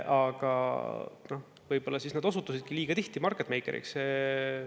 Aga võib-olla need osutusidki liiga tihti market maker'iks.